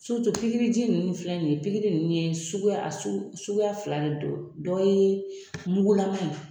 pikiriji ninnu filɛ nin ye pikiri ye sugu suguya fila de don dɔw ye mugulama ye